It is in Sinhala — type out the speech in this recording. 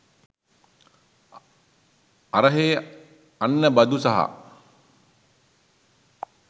අරහේ අන්න බදු සහ